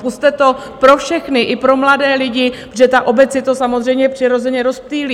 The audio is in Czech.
Pusťte to pro všechny, i pro mladé lidi, protože ta obec si to samozřejmě přirozeně rozptýlí.